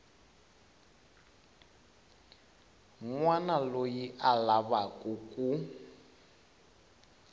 wana loyi a lavaku ku